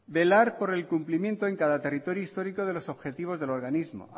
velar por el cumplimiento en cada territorio histórico de los objetivos del organismo